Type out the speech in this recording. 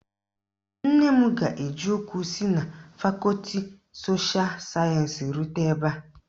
Nne m ga-eji ụkwụ si na fakọti sosha sayensi rute ebe a.